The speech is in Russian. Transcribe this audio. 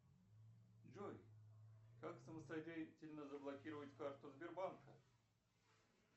джой как самостоятельно заблокировать карту сбербанка